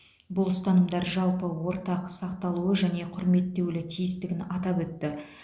бұл ұстанымдар жалпы ортақ сақталуы және құрметтеулі тиістігін атап өтті